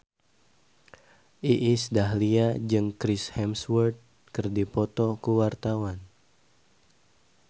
Iis Dahlia jeung Chris Hemsworth keur dipoto ku wartawan